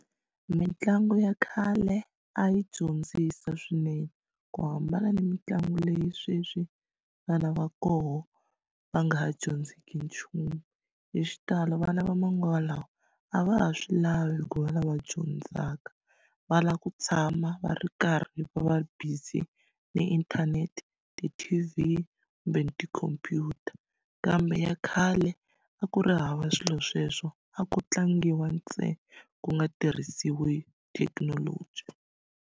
Mitlangu ya khale a yi dyondzisa swinene ku hambana ni mitlangu leyi sweswi vana va koho va nga ha dyondziki nchumu hi xitalo vana va manguva lawa a va ha swi lavi ku va lava dyondzaka va lava ku tshama va ri karhi va va ri busy na inthanete ti-T_V kumbe tikhompyuta kambe ya khale a ku ri hava swilo sweswo a ko tlangiwa ntsena ku nga tirhisiwi thekinoloji.